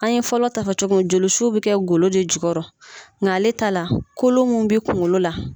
An ye fɔlɔ ta fɔ cogo min joli su bɛ kɛ golo de jukɔrɔ nka ale ta la kolo mun bɛ kungolo la.